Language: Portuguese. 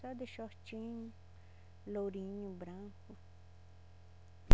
Só de shortinho, lourinho, branco.